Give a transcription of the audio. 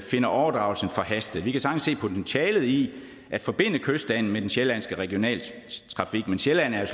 finder overdragelsen forhastet vi kan sagtens se potentialet i at forbinde kystbanen med den sjællandske regionaltrafik men sjælland er